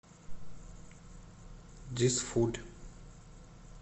дизфуль